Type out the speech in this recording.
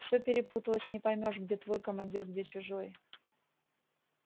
всё перепуталось не поймёшь где твой командир где чужой